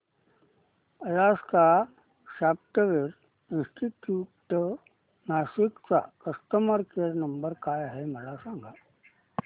Alaska software institute Nashik चा customer care number काय आहे मला सांग